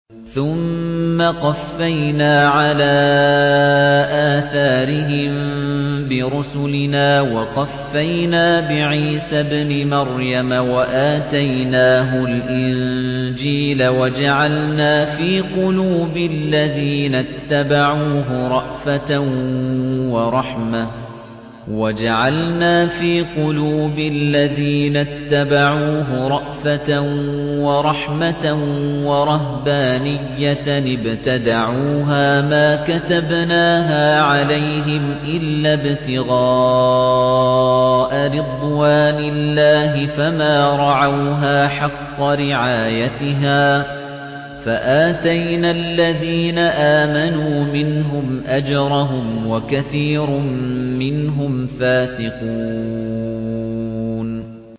ثُمَّ قَفَّيْنَا عَلَىٰ آثَارِهِم بِرُسُلِنَا وَقَفَّيْنَا بِعِيسَى ابْنِ مَرْيَمَ وَآتَيْنَاهُ الْإِنجِيلَ وَجَعَلْنَا فِي قُلُوبِ الَّذِينَ اتَّبَعُوهُ رَأْفَةً وَرَحْمَةً وَرَهْبَانِيَّةً ابْتَدَعُوهَا مَا كَتَبْنَاهَا عَلَيْهِمْ إِلَّا ابْتِغَاءَ رِضْوَانِ اللَّهِ فَمَا رَعَوْهَا حَقَّ رِعَايَتِهَا ۖ فَآتَيْنَا الَّذِينَ آمَنُوا مِنْهُمْ أَجْرَهُمْ ۖ وَكَثِيرٌ مِّنْهُمْ فَاسِقُونَ